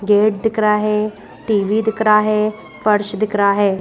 Gate दिख रहा है टीवी दिख रहा है फर्श दिख रहा है।